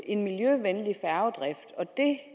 en miljøvenlig færgedrift og det